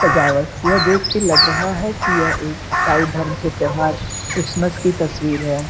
सजावट यह देख के लग रहा है की यह एक इसाई धर्म के त्यौहार क्रिसमस की तस्वीर है।